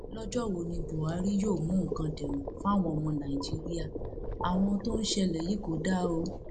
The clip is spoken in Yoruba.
lọjọ wo ni buhari yóò mú nǹkan dẹrùn fáwọn ọmọ nàìjíríà àwọn ohun tó ń ṣẹlẹ yìí kò dáa o